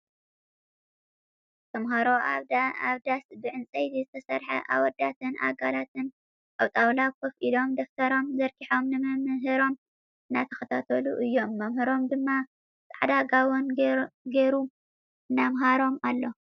ተምሃሮ ኣብ ዳስ ብዕንፀይቲ ዝተሰርሐ ኣወዳትን ኣጋላትን ኣብ ጣውላ ኮፍ ኢሎም ደፍተሮም ዘርጊሖም ንመምህሮም እናተከታተሉ እዮም መምህሮም ድማ ፃዕዳ ጋቦን ጌሩ እናምሃሮም ኣሎ።